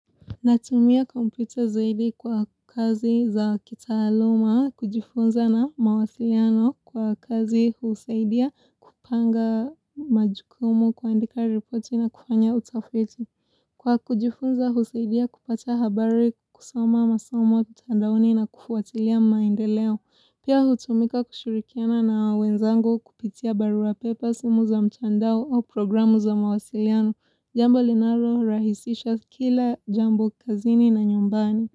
Natumia kompyuta zaidi kwa kazi za kitaaluma, kujifunza na mawasiliano kwa kazi husaidia kupanga majukumu kuandika ripoti na kufanya utafiti. Kwa kujifunza husaidia kupata habari kusoma masomo mtandaoni na kufuatilia maendeleo. Pia hutumika kushurikiana na wenzangu kupitia baruapepe au simu za mchandao au programu za mawasiliano. Jambo linarorahisisha kila jambo kazini na nyumbani.